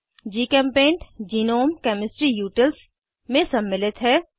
जीचेम्पेंट GNOME chemistry utils में सम्मिलित है